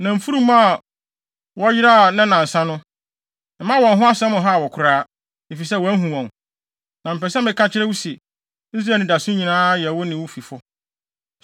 Na mfurum a wɔyeraa nnɛnnansa no, mma wɔn ho asɛm nhaw wo koraa, efisɛ wɔahu wɔn. Na mepɛ sɛ meka kyerɛ wo se, Israel anidaso nyinaa yɛ wo ne wo fifo.”